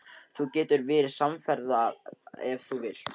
Þú getur verið samferða ef þú vilt.